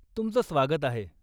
तुमचं स्वागत आहे.